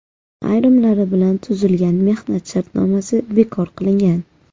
Ayrimlari bilan tuzilgan mehnat shartnomasi bekor qilingan.